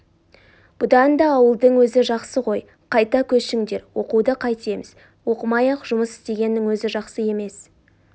бұдан да ауылдың өзі жақсы ғой қайта көшіңдер оқуды қайтеміз оқымай-ақ жұмыс істегеннің өзі жақсы емес